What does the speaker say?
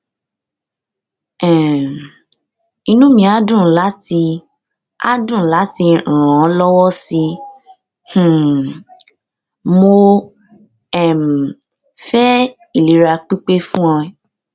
um inú mi á dùn láti á dùn láti ràn ọ lọwọ sí i um mo um fẹ ìlera pípé fún ẹ